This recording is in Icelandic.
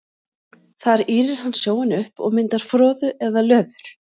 Þar ýrir hann sjóinn upp og myndar froðu eða löður.